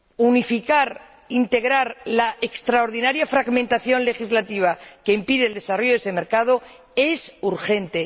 unificar, integrar la extraordinaria fragmentación legislativa que impide el desarrollo de ese mercado, es urgente.